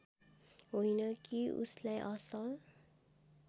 होइन कि उसलाई असल